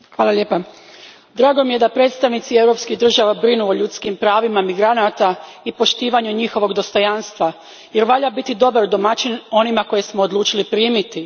Gospodine predsjedniče, drago mi je da predstavnici europskih država brinu o ljudskim pravima migranata i poštovanju njihovog dostojanstva jer valja biti dobar domaćin onima koje smo odlučili primiti.